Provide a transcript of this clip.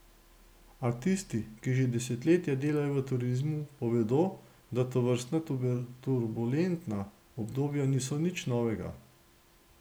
A tisti, ki že desetletja delajo v turizmu, povedo, da tovrstna turbulentna obdobja niso nič novega.